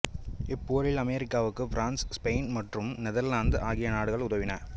இப்போரில் அமெரிக்காவுக்கு France Spain மற்றும் Netherlands ஆகிய நாடுகள் உதவின